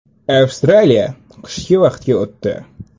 Avstraliya qishki vaqtga o‘tdi.